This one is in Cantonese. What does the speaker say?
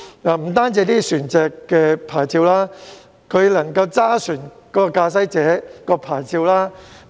不單船隻的牌照互通互認，駕駛者的牌照也可以。